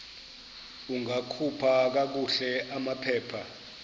ungakhupha kakuhle amaphepha